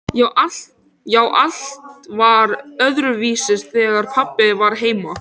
Já, allt var öðruvísi þegar pabbi var heima.